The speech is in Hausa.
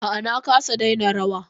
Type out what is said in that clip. A'a na kasa daina rawa.